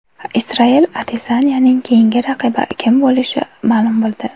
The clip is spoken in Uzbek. Israel Adesanyaning keyingi raqibi kim bo‘lishi ma’lum bo‘ldi.